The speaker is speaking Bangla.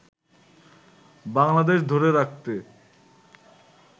বাংলাদেশ ধরে রাখতে